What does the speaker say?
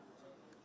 Bir, yox.